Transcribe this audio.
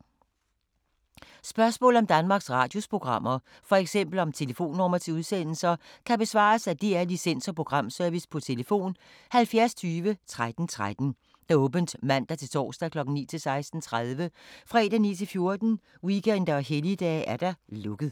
Spørgsmål om Danmarks Radios programmer, f.eks. om telefonnumre til udsendelser, kan besvares af DR Licens- og Programservice: tlf. 70 20 13 13, åbent mandag-torsdag 9.00-16.30, fredag 9.00-14.00, weekender og helligdage: lukket.